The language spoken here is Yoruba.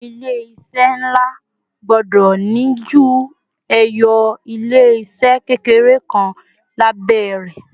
àwọn ilé iṣẹ nla gbọdọ ni ju eyo ilé se kékeré kan labẹ rè